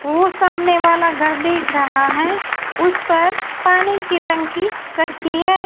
वो सामने वाला घर दिख रहा है उस पर पानी की टंकी रखी है।